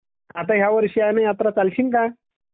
ह्यावर्ष आहे यात्रा चालशिल का